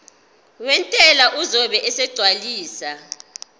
wentela uzobe esegcwalisa